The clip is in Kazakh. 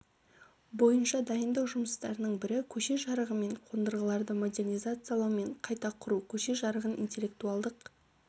бойынша дайындық жұмыстарының бірі көше жарығы мен қондырғыларды модернизациялау мен қайта құру көше жарығын интеллектуалдық